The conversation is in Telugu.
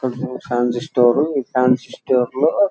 అదొక ఫ్యాన్సీ స్టోర్ ఫాన్సీ స్టోర్ లో --